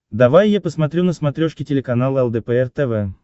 давай я посмотрю на смотрешке телеканал лдпр тв